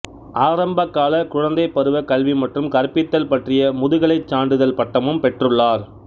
ஆரம்பகால குழந்தை பருவ கல்வி மற்றும் கற்பித்தல் பற்றிய முதுகலைச் சான்றிதழ் பட்டமும் பெற்றுள்ளார்